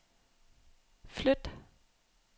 flyt